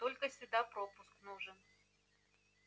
только сюда пропуск нужен